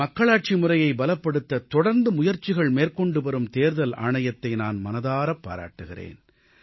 மக்களாட்சி முறையைப் பலப்படுத்த தொடர்ந்து முயற்சிகள் மேற்கொண்டுவரும் தேர்தல் ஆணையத்தை நான் மனதாரப் பாராட்டுகிறேன்